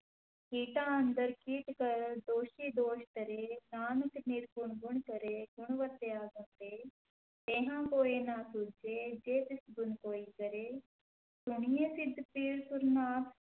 ਕੀਟਾ ਅੰਦਰਿ ਕੀਟੁ ਕਰਿ ਦੋਸੀ ਦੋਸੁ ਧਰੇ, ਨਾਨਕ ਨਿਰਗੁਣਿ ਗੁਣੁ ਕਰੇ ਗੁਣਵੰਤਿਆ ਗੁਣੁ ਦੇ, ਤੇਹਾ ਕੋਇ ਨ ਸੁਝਈ ਜੇ ਤਿਸੁ ਗੁਣੁ ਕੋਇ ਕਰੇ, ਸੁਣਿਐ ਸਿਧ ਪੀਰ ਸੁਰਿ ਨਾਥ,